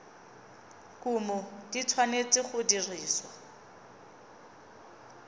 kumo di tshwanetse go dirisiwa